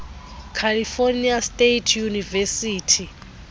california state university